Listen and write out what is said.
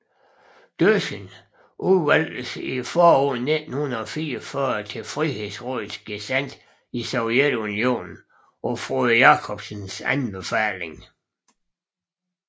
Døssing udvalgtes i foråret 1944 til Frihedsrådets gesandt i Sovjetunionen på Frode Jakobsens anbefaling